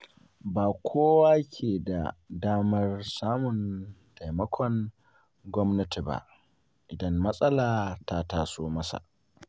Ba kowa ke da damar samun taimakon gwamnati ba, idan matsala ta taso masa.